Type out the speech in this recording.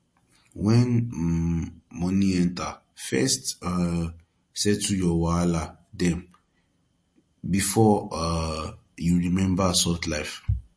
when um money enter first um settle your wahala dem before um you remember soft life